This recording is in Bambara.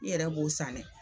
I yɛrɛ b'o san dɛ